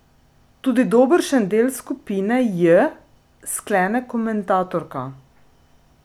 Tudi dobršen del skupine J, sklene komentatorka.